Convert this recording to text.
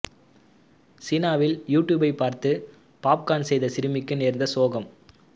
சீனாவில் யூ டியூப்பை பார்த்து பொப்கோர்ன் செய்த சிறுமிக்கு நேர்ந்த சோகம்